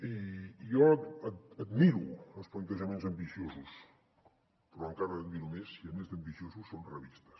i jo admiro els plantejaments ambiciosos però encara els admiro més si a més d’ambiciosos són realistes